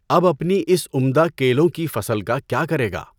اب اپنی اِس عمدہ کیلوں کی فصل کا کیا کرے گا؟